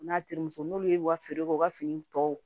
N'a terimuso n'olu y'u ka fini k'u ka fini tɔw